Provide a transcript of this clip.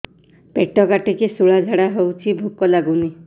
ପେଟ କାଟିକି ଶୂଳା ଝାଡ଼ା ହଉଚି ଭୁକ ଲାଗୁନି